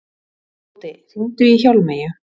Tóti, hringdu í Hjálmeyju.